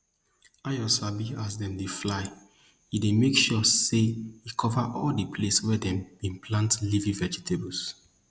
ayo sabi as dem dey fly e dey make sure say e cover all di place wey dem bin plant leafy vegetables